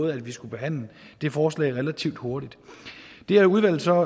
at vi skulle behandle det forslag relativt hurtigt det har udvalget så